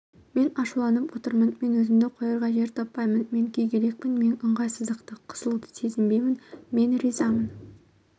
мен ашуланып отырмын мен өзімді қоярға жер таппаймын мен күйгелекпін мен ыңғайсыздықты қысылуды сезінбеймін мен ризамын